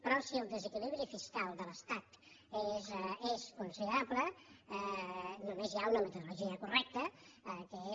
però si el desequilibri fiscal de l’estat és considerable només hi ha una metodologia correcta que és